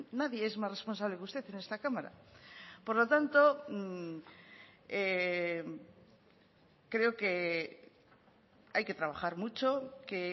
nadie es más responsable que usted en esta cámara por lo tanto creo que hay que trabajar mucho que